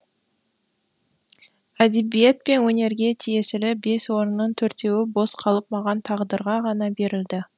әдебиет пен өнерге тиесілі бес орынның төртеуі бос қалып маған тағдырға ғана берілді